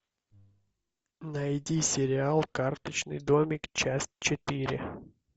найди сериал карточный домик часть четыре